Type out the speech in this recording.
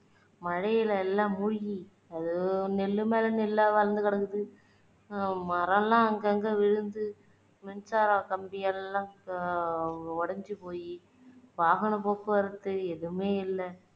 மழையில எல்லாம் மூழ்கி அது நெல்லு மேல நெல்லா வளந்து கிடந்து மரம் எல்லாம் அங்கங்க விழுந்து மின்சார கம்பியெல்லாம் அஹ் உடஞ்சு போயி வாகன போக்குவரத்து எதுவுமே இல்ல